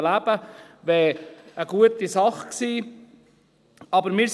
Es wäre eine gute Sache gewesen.